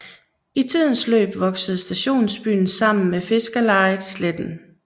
I tidens løb voksede stationsbyen sammen med fiskerlejet Sletten